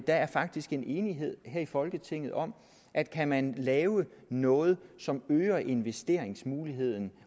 der faktisk er en enighed i folketinget om at kan man lave noget som øger investeringsmuligheden